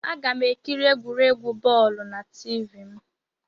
Aga m ekiri egwuregwu bọọlu na Tiivii m